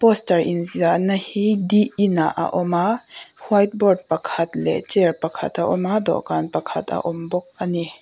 poster in ziahna hi di inah a awm a white board pakhat leh chair pakhat a awm a dawhkan pakhat a awm bawk a ni.